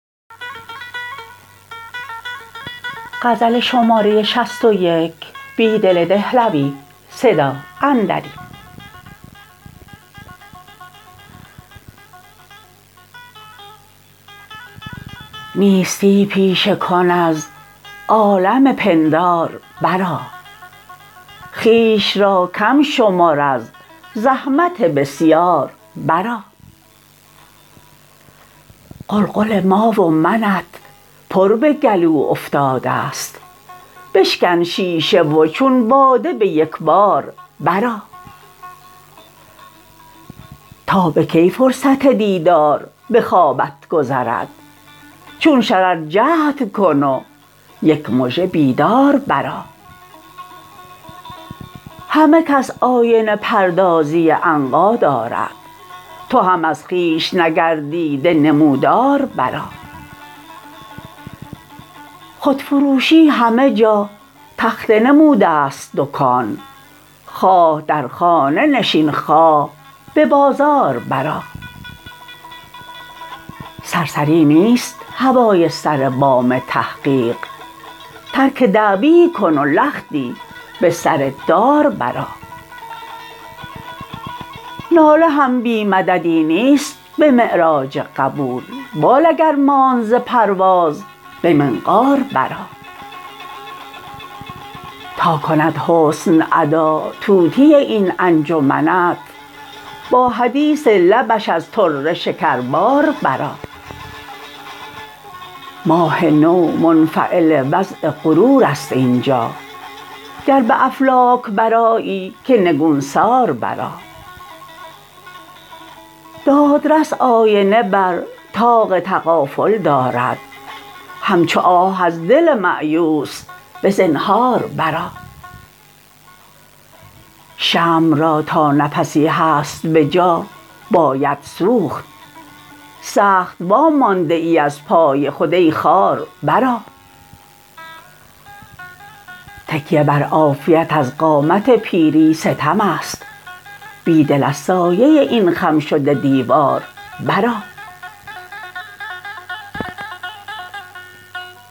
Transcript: نیستی پیشه کن از عالم پندار برآ خویش را کم شمر از زحمت بسیار برآ قلقل ما و منت پر به گلو افتاده ست بشکن شیشه و چون باده به یکبار برآ تا به کی فرصت دیدار به خوابت گذرد چون شرر جهدکن و یک مژه بیدار برآ همه کس آینه پردازی عنقا دارد تو هم از خویش نگردیده نمودار برآ خودفروشی همه جا تخته نموده ست دکان خواه در خانه نشین خواه به بازار برآ سرسری نیست هوای سر بام تحقیق ترک دعوی کن و لختی به سر دار برآ ناله هم بی مددی نیست به معراج قبول بال اگر ماند ز پرواز به منقار برآ تا کند حسن ادا طوطی این انجمنت با حدیث لبش از پرده شکربار برآ ماه نو منفعل وضع غرور است اینجا گر به افلاک برآیی که نگونسار برآ دادرس آینه بر طاق تغافل دارد همچو آه از دل مأیوس به زنهار برآ شمع را تا نفسی هست بجا باید سوخت سخت وامانده ای از پای خود ای خار برآ تکیه بر عافیت از قامت پیری ستم است بیدل از سایه این خم شده دیوار برآ